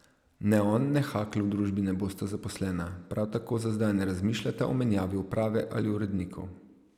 Ne on ne Hakl v družbi ne bosta zaposlena, prav tako za zdaj ne razmišljata o menjavi uprave ali urednikov.